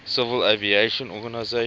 civil aviation organization